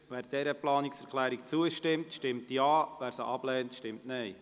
Wer dieser Planungserklärung zustimmt, stimmt Ja, wer diese ablehnt, stimmt Nein.